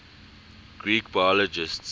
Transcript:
greek biologists